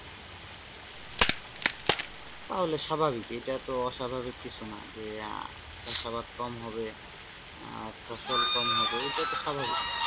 তাহলে স্বাভাবিক এটা তো অস্বাভাবিক কিছু না যে আহ চাষাবাদ কম হবে ফসল কম হবে এটা তো স্বাভাবিক।